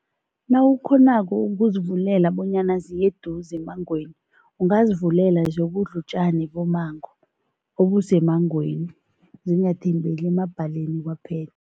Nawukghonako ukuzivulela bonyana ziye eduze emmangweni, ungazivulela ziyokudla utjani bommango obusemmangweni, zingathembeli emabhaleni kwaphela.